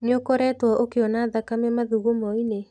Nĩ ũkoretwo ũkĩona thakame mathugumoinĩ.